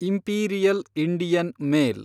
imperial Indian mail